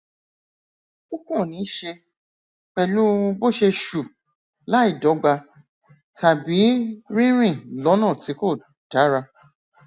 ó kàn níí ṣe pèlú bó ṣe ṣù láìdọgba tàbí rírìn lọnà tí kò dára